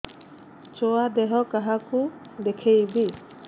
ଛୁଆ ଦେହ କାହାକୁ ଦେଖେଇବି